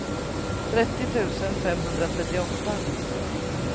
trettio tusen femhundratrettioåtta